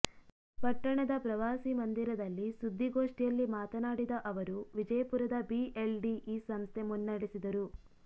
ಪಟ್ಟಣದ ಪ್ರವಾಸಿ ಮಂದಿರದಲ್ಲಿ ಸುದ್ದಿಗೊಷ್ಠಿಯಲ್ಲಿ ಮಾತನಾಡಿದ ಅವರು ವಿಜಯಪುರದ ಬಿಎಲ್ಡಿಇ ಸಂಸ್ಥೆ ಮುನ್ನೇಡೆಸಿದರು